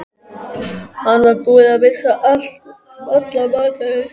Hann var búinn að missa alla matar lyst.